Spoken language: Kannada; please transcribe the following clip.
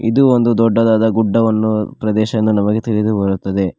ಇದು ಒಂದು ದೊಡ್ಡದಾದ ಗುಡ್ಡವನ್ನು ಪ್ರದೇಶ ಎಂದು ನಮಗೆ ತಿಳಿದು ಬರುತ್ತದೆ.